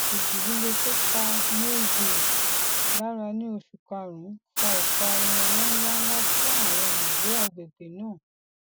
ìjì líle tó pa mayville lára ní oṣù karùnún fa ìparun owó ńláńlá fún àwọn olùgbé agbègbè náà